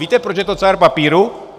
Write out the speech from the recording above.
Víte, proč je to cár papíru?